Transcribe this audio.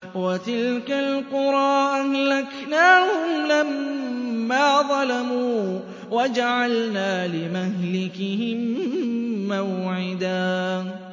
وَتِلْكَ الْقُرَىٰ أَهْلَكْنَاهُمْ لَمَّا ظَلَمُوا وَجَعَلْنَا لِمَهْلِكِهِم مَّوْعِدًا